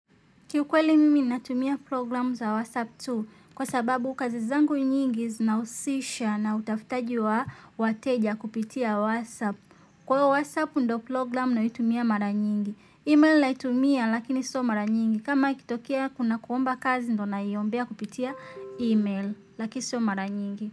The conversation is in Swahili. Kiukweli mimi natumia programu za WhatsApp tu kwa sababu kazi zangu nyingi zinahusisha na utafutaji wa wateja kupitia WhatsApp. Kwa hivo WhatsApp ndo program naitumia mara nyingi. Email naitumia lakini sio mara nyingi. Kama ikitokia kuna kuomba kazi ndo na iombea kupitia email lakini sio mara nyingi.